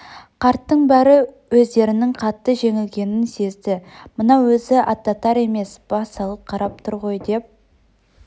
қарттың бәрі өздерінің қатты жеңілгенін сезді мынау өзі аттатар емес бас салып қарап тұр ғой деп